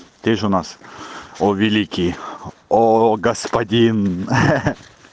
ты же у нас о великий оо господин ха-ха